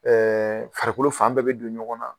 farikolo fan bɛɛ be don ɲɔgɔn na